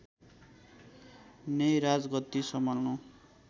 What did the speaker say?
नै राजगद्दी सम्हाल्नु